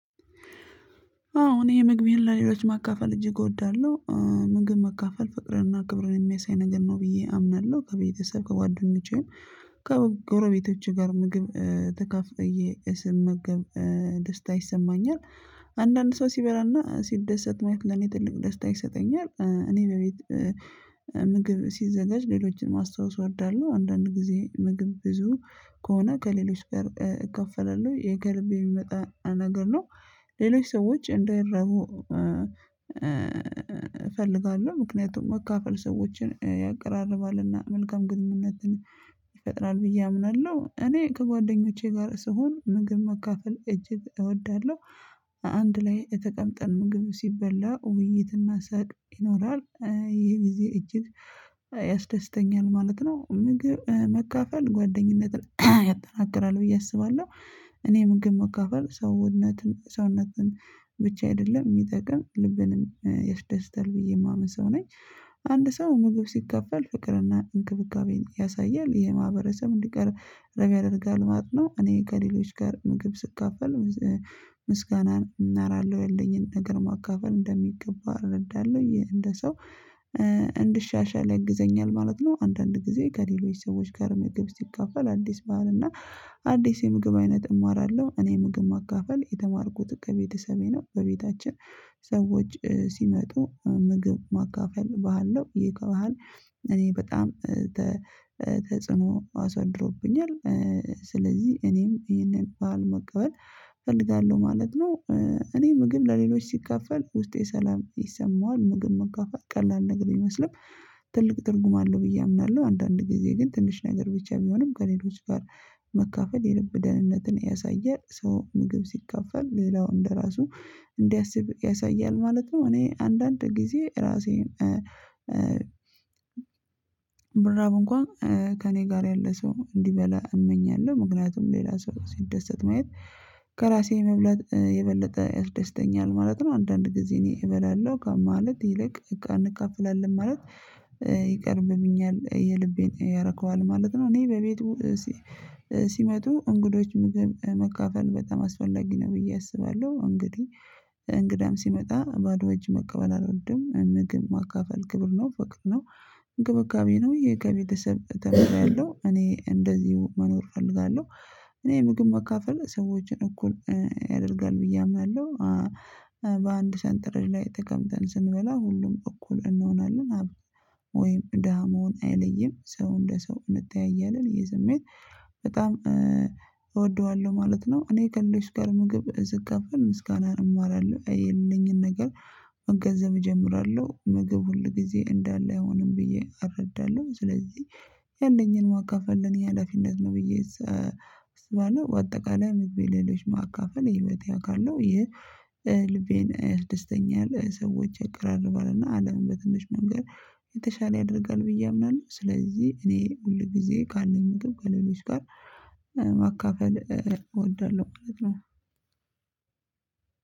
አዎ እኔ የምግብህን ለሌሎች ማካፈል እጅግ እወዳለሁ ምግብ መካፈል ፍቅርና ክብር የሚያሳይ ነገር ነው ብዬ አምናለሁ ከቤተሰብ ከጓደኞቼም ከጎረቤቶቼ ጋር ምግብ ተካፍዬ ስመገብ ደስታ ይሰማኛል። አንዳንድ ሰው ሲበላና ሲደሰት ማየት ለኔ ትልቅ ደስታ ይሰጠኛል እኔ በቤት ምግብ ሲዘጋጅ ሌሎችንም ማስታወስ እወዳለሁ። አንዳንድ ጊዜ ምግብ ብዙ ከሆነ ከሌሎች ጋር እካፈላለሁ ይሄ ከልብ የሚመጣ ነገር ነው። ሌሎች ሰዎች እንዳይራቡ እፈልጋለሁ። ምክንያቱም መካፈል ሰዎችን ያቀራርባልና መልካም ግንኙነትን ይፈጥራል ብዬ አምናለሁ። እኔ ከጓደኞቼ ጋር ስሆን ምግብ መካፈል እጅግ እወዳለሁ። አንድ ላይ ተቅምጠን ምግብ ሲበላ ውይይትና ሳቅ ይኖራል ይሄ ጊዜ እጅግ ያስደስተኛል ማለት ነው። ምግብ መካፈል ጓደኝነትን ያጠናክራል ብዬ አስባለሁ። እኔ ምግብ መካፈል ሰውነትን ሰውነትን ብቻ አይደለም የሚጠቅም ልብንም ያስደስታል ብዬ የማምን ሰው ነኝ። አንድ ሰው ምግብ ሲካፈል ፍቅርና እንክብካቤን ያሳያል የማህበረሰብ እንዲቀራረብ ያደርጋል ማለት ነው። እኔ ከሌሎች ጋር ምግብ ስካፈል ምስጋና እናራለሁ ያለኝን ነገር ማካፈል እንደሚገባ እረዳለሁ እንደ ሰው እንድሻሻል ያግዘኛል ማለት ነው። አንዳንድ ጊዜ ከሌሎች ሰዎች ጋር ምግብ ስካፈል አዲስ ባህል እና አዲስ የምግብ አይነት እማራለሁ። እኔ ምግብ ማካፈል የተማርኩት ከቤተሰቤ ነው። በቤታችን ሰዎች ሲመጡ ምግብ ማካፈል ባህል ነው ይህ ከባህል እኔ በጣም ተጽዕኖ አሳድሮብኛል። ስለዚህ እኔም ይሄንን ባህል መቀበል እፈልጋለሁ ማለት ነው። እኔ ምግብ ለሌሎች ሲካፈል ውስጤ ሰላም ይሰማዋል ምግብ መካፈል ቀላል ነገር ቢሚመስልም ትልቅ ትርጉም አለው ብዬ አምናለሁ። አንዳንድ ጊዜ ግን ትንሽ ነገር ብቻ ቢሆንም ከሌሎች ጋር መካፈል የልብ ደህንነትን ያሳያል ሰው ምግብ ሲካፈል ሌላው እንደራሱ እንዲያስብ ያሳያል ማለት ነው። እኔ አንዳንድ ጊዜ ራሴን ብራብ እንኳን ከእኔ ጋር ያለ ሰው እንዲበላ እመኛለሁ። ምክንያቱም ሌላ ሰው ሲደሰት ማየት ከራሴ መብላት የበለጠ ያስደስተኛል ማለት ነው። አንዳንድ ጊዜ እኔ እበላለሁ ከማለት ይልቅ እንካፍላለን ማለት ይቀድምብኛል የልቤን ያረከዋል ማለት ነው። እኔ በቤቱ ሲመጡ እንግዶች መካፈል በጣም አስፈላጊ ነው ብዬ አስባለሁ። እንግዲህ እንግዳም ሲመጣ ባዶ እጅ መቀበል አልወድም ምግብ ማካፈል ክብር ነው ፍቅር ነው። እንክብካቤ ነው ይሄ ከቤተሰብ ተምሬያለሁ እኔ እንደዚህ መኖር እፈልጋለሁ። እኔ ምግብ መካፈል ሰዎችን እኩል ያደርጋል ብዬ አምናለሁ። በአንድ ሰንጠረዥ ላይ ተቀምጠን ስንበላ ሁሉም እኩል እንሆናለን ሀብታም ወይም ደሃ መሆን አይለይም ሰው እንደ ሰው እንተያያለን ይህ ስሜት በጣም እወደዋለሁ ማለት ነው። እኔ ከእነሱ ጋር ምግብ እ ስካፈል ምስጋናን እማራለሁ ያለኝን ነገር መገንዘብ እጀምራለሁ። ምግብ ሁል ጊዜ እንዳለ አይሆንም ብዬ አረዳለሁ ስለዚህ ያለኝን ማካፈል የኔ ኀላፊነት ነው። ብዬ ስባለው በአጠቃላይ ምግቤ ሌሎች ማካፈል የህይወቴ አካል ነው። የልቤን ደስተኛ ያለው ሰዎች ያቀራርባልና አለምን በትንሽ መንገድ የተሻለ ያደርጋል ብዬ አምናለሁ። ስለዚህ እኔ ሁል ጊዜ ካለኝ እግር ከሌሎች ጋር ማካፈል እወዳለሁ ማለት ነው።